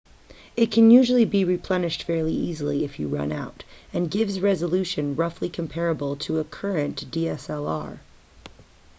it can usually be replenished fairly easily if you run out and gives resolution roughly comparable to a current dslr